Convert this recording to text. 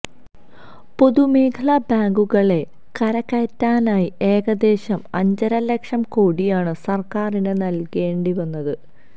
പൊതുമേഖലാ ബാങ്കുകളെ കരകയറ്റാനായി ഏകദേശം അഞ്ചര ലക്ഷം കോടിയാണ് സര്ക്കാറിന് നല്കേണ്ടി വന്നത്